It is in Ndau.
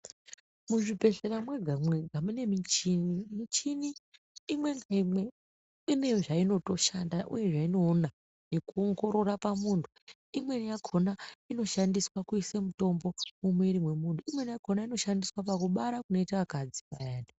Muzvibhedhlera mwega mwega mune michini. Michini imwe naimwe ine zvainotoshanda uye zvainoona nekuongorora pamuntu. Imweni yakona inoshandiswa kuise mitombo mwumwiiri mwemuntu imweni yakona inoshandiswa pakubara kunoita akadzi payani.